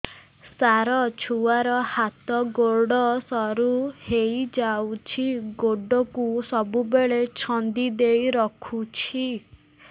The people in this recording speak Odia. ସାର ଛୁଆର ହାତ ଗୋଡ ସରୁ ହେଇ ଯାଉଛି ଗୋଡ କୁ ସବୁବେଳେ ଛନ୍ଦିଦେଇ ରଖୁଛି